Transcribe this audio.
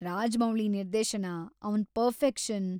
ರಾಜಮೌಳಿ ನಿರ್ದೇಶನ, ಅವ್ನ ಪರ್ಫೆಕ್ಷನ್.